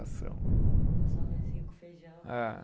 Só arrozinho com feijão. Eh.